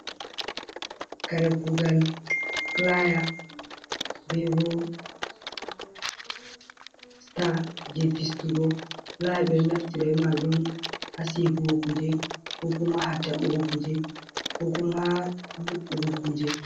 Kare kuugal, pulaaya bee bo sita jey fistugo, pulaaya ɓe naftira maajum haa seekugugo kuje ko kuma ha ta'ugo kuje koo kuma haa nyo''ugo kuje.